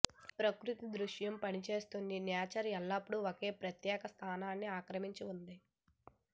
ప్రకృతి దృశ్యం పనిచేస్తుంది నేచర్ ఎల్లప్పుడూ ఒక ప్రత్యేక స్థానాన్ని ఆక్రమించిన ఉంది